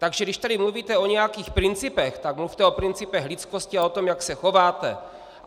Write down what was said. Takže když tady mluvíte o nějakých principech, tak mluvte o principech lidskosti a o tom, jak se chováte!